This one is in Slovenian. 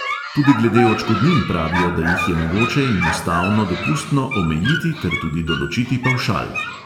Tudi glede odškodnin pravijo, da jih je mogoče in ustavno dopustno omejiti ter tudi določiti pavšal.